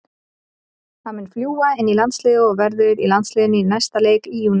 Hann mun fljúga inn í landsliðið og verður í landsliðinu í næsta leik í júní.